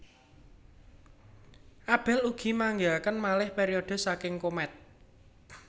Abell ugi manggihaken malih periode saking komet